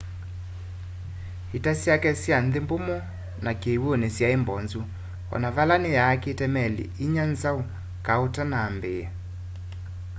ita syake sya nthi mbumu na kiwuni syai mbozu ona vala ni yaakite meli inya nzau kau utanamba ambiia